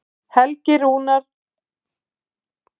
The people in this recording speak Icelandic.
Rúnar Helgi Vignisson.